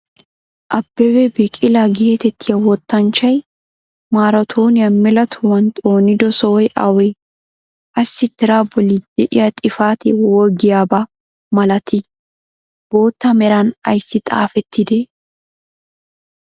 Abebee biqilaa geetettiya wottanchchay maratooniya mela tohuwan xoonido sohoy awee? assi tiraa boli de'iya xifatee wogiyaaba malatii? bootta meran ayssi xaafettidee?